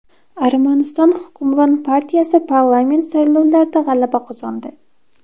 Armaniston hukmron partiyasi parlament saylovlarida g‘alaba qozondi.